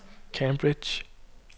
Cambridge